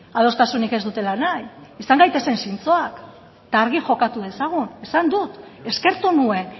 adostasunik ez dutela nahi izan gaitezen zintzoak eta argi jokatu dezagun esan dut eskertu nuen